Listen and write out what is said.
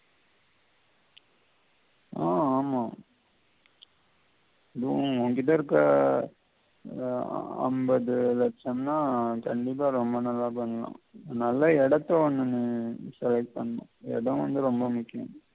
ஆஹ் ஆமா அதுவும் உன்கிட்ட இருக்கிற ஆஹ் ஐம்பது லட்சம்னா கண்டிப்பா ரொம்ப நல்லா பண்ணலாம் நல்ல இடத்த ஒன்னு select பண்ணனும் இடம் வந்து ரொம்ப முக்கியம்.